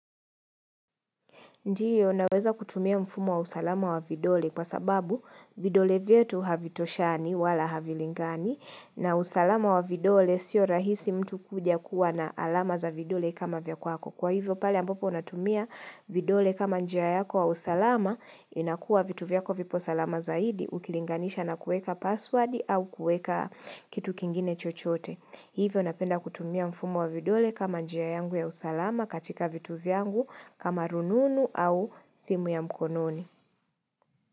Ndiyo, naweza kutumia mfumo wa usalama wa vidole kwa sababu vidole vyetu havitoshani wala havilingani na usalama wa vidole siyo rahisi mtu kujakuwa na alama za vidole kama vya kwako. Kwa hivyo, pale ambopo unatumia vidole kama njia yako wa usalama, inakua vitu vyako vipo salama zaidi, ukilinganisha na kuweka password au kuweka kitu kingine chochote. Hivyo napenda kutumia mfumo wa vidole kama njia yangu ya usalama katika vitu vyangu kama rununu au simu ya mkononi.